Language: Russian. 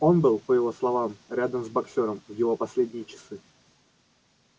он был по его словам рядом с боксёром в его последние часы